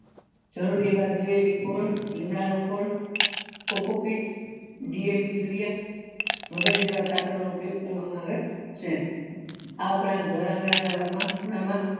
જરૂરી એવા દિવેલી યુરીયા વગેરે જેવા ખાતરો નો ઉપયોગ કરવા માં આવે છે આ ઉપરાંત ઘર આંગણા ના ભાગ માં નાના